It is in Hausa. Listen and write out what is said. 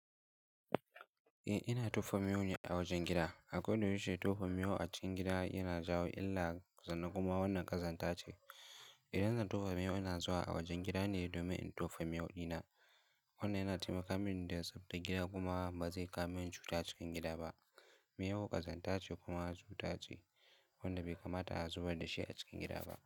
Eh, ina tofa miyo a wajen gida. Akwai duk wacce tofa miyo a cikin gida yana jawo illa, zanna kuma wannan ƙazanta ce. Idan zan tofa miyo ina zuwa a wajen gida ne domin in tofa miyo dina. Wannan yana taimaka mini don tsabtace gida kuma ba zai kawo min cuta cikin gida ba. Miyo ƙazanta ce kuma cuta ce wadda bai kamata a zubar da shi a cikin gida ba.